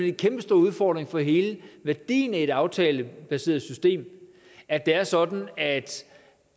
en kæmpestor udfordring for hele værdien i det aftalebaserede system at det er sådan at